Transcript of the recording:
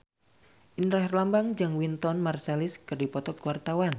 Indra Herlambang jeung Wynton Marsalis keur dipoto ku wartawan